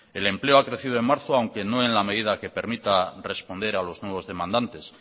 el empleo ha crecido en marzo aunque no en la medida que permita responder a los nuevos demandantes